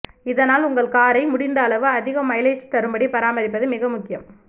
இதனால் உங்கள் காரை முடிந்த அளவு அதிக மைலேஜ் தரும்படி பராமரிப்பது மிக முக்கியம்